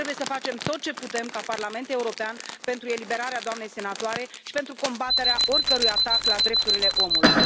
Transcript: Trebuie să facem tot ce putem ca Parlament European pentru eliberarea doamnei senatoare și pentru combaterea oricărui atac la drepturile omului.